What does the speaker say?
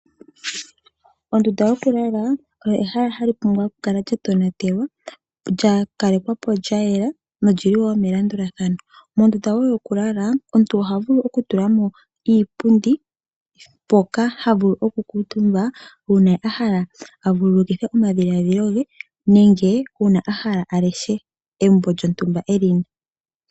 Ondunda yokulala oyo ehala hali pumbwa okukala lyatonatelwa lyakalekwapo lyayela nolili wo melandulathano. Mondunda wo yokulala omuntu ohavulu okutulamo iipundi mpoka havulu okukuutumba uuna ahala avululukithe omadhiladhilo ge nenge uuna ahala aleshe embo lyontumba elina.